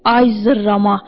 Ay zırrama!